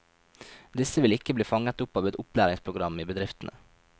Disse vil ikke bli fanget opp av opplæringsprogram i bedriftene.